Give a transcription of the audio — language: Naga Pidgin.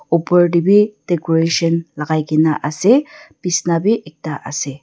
opor te bhi decoration logai kina ase bisna bhi ekta ase.